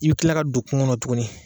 I bi tila ka don kuŋo ŋɔnɔ tuguni